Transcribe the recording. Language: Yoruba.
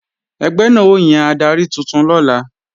Ẹgbẹ́ náà ó yan adarí tuntun lọ́la